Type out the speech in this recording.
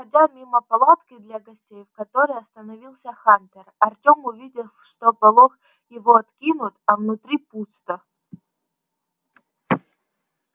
проходя мимо палатки для гостей в которой остановился хантер артём увидел что полог его откинут а внутри пусто